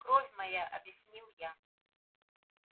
кровь моя объяснил я